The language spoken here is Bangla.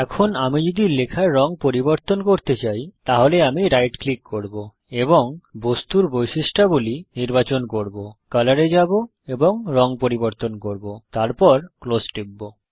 এখন আমি যদি লেখার রঙ পরিবর্তন করতে চাই তাহলে আমি রাইট ক্লিক করব এবং বস্তুর বৈশিষ্ট্যাবলী অবজেক্ট প্রপারটিস নির্বাচন করব কলর এ যাব এবং রঙ পরিবর্তন করব তারপর ক্লোজ টিপব